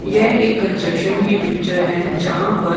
यह एक कंस्ट्रक्शन की पिक्चर है जहाँ पर--